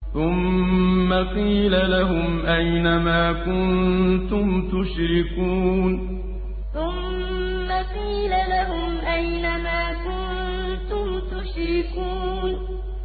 ثُمَّ قِيلَ لَهُمْ أَيْنَ مَا كُنتُمْ تُشْرِكُونَ ثُمَّ قِيلَ لَهُمْ أَيْنَ مَا كُنتُمْ تُشْرِكُونَ